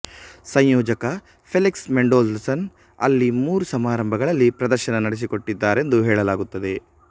ಸಂಯೋಜಕ Felix Mendelssohn ಅಲ್ಲಿ ಮೂರು ಸಮಾರಂಭಗಳಲ್ಲಿ ಪ್ರದರ್ಶನ ನಡೆಸಿಕೊಟ್ಟಿದ್ದಾರೆಂದು ಹೇಳಲಾಗುತ್ತದೆ